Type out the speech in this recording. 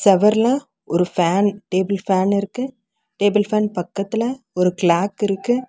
செவர்ல ஒரு fan table fan இருக்கு table fan பக்கத்துல ஒரு கிளாக் இருக்கு.